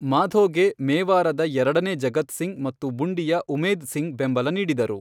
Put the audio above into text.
ಮಾಧೋಗೆ ಮೇವಾರದ ಎರಡನೇ ಜಗತ್ ಸಿಂಗ್ ಮತ್ತು ಬುಂಡಿಯ ಉಮೇದ್ ಸಿಂಗ್ ಬೆಂಬಲ ನೀಡಿದರು.